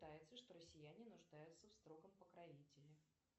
что россияне нуждаются в строгом покровителе